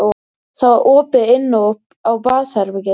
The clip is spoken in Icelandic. Það var opið inn á baðherbergið.